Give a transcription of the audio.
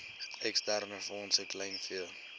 eksterne fondse kleinvee